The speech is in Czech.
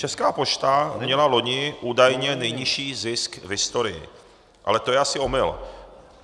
Česká pošta měla loni údajně nejnižší zisk v historii, ale to je asi omyl.